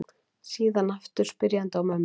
Síðan aftur spyrjandi á mömmu.